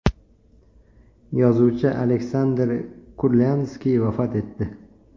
Yozuvchi Aleksandr Kurlyandskiy vafot etdi.